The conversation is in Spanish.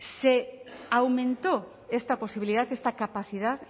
se aumentó esta posibilidad esta capacidad